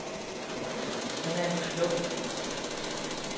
Han er en klog fyr.